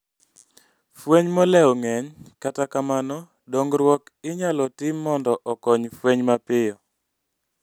Fueny moleo ng'eny kata kamano dongruok inyalo tim mondo okony fueny mapiyo